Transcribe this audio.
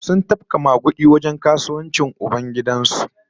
Sun tafka magudi a wajen kasuwancin ubangidan su